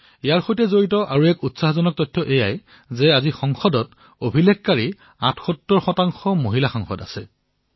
ইয়াৰ সৈতে জড়িত আন এক উৎসাহদায়ী তথ্য এয়াই যে আজি সংসদত অভিলেখসংখ্যত ৭৮ গৰাকী মহিলা সাংসদ আছে